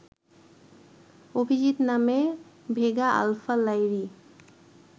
অভিজিত নামে Vega; Alpha Lyrae